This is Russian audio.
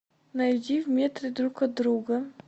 найди в метре друг от друга